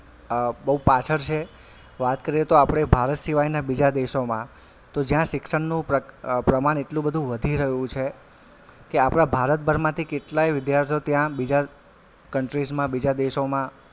અ બવ પાછળ છે વાત કરીએ તો આપડે ભારત સિવાયના બીજા દેશોમાં તો જ્યાં શિક્ષણનું પ્રપ્રમાણ એટલું બધું વધી રહ્યું છે કે આપડા ભારત ભરમાંથી કેટલાય વિદ્યાર્થીઓ ત્યાં બીજા countries માં બીજા દેશોમાં,